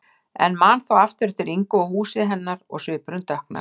En man þá aftur eftir Ingu og húsi hennar og svipurinn dökknar.